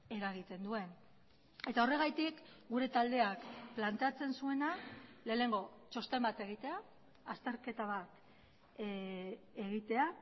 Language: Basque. eragiten duen eta horregatik gure taldeak planteatzen zuena lehenengo txosten bat egitea azterketa bat egitea